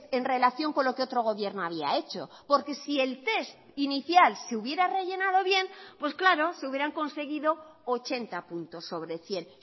en relación con lo que otro gobierno había hecho porque si el test inicial se hubiera rellenado bien pues claro se hubieran conseguido ochenta puntos sobre cien